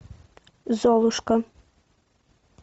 золушка